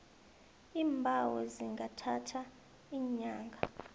iimbawo zingathatha iinyanga